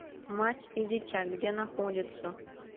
мать и дитя где находится